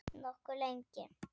Nokkuð lengi.